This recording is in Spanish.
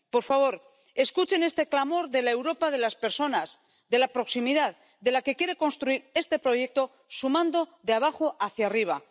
Por favor, escuchen este clamor de la Europa de las personas, de la proximidad, de la que quiere construir este proyecto sumando de abajo hacia arriba.